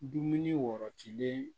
Dumuni wɔrɔtilen